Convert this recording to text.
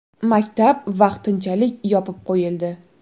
Maktab vaqtinchalik yopib qo‘yildi.